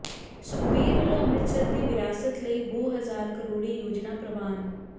ਸੁਖਬੀਰ ਵਲੋਂ ਅੰਮ੍ਰਿਤਸਰ ਦੀ ਵਿਰਾਸਤ ਲਈ ਬਹੁ ਹਜ਼ਾਰ ਕਰੋੜੀ ਯੋਜਨਾ ਪ੍ਰਵਾਨ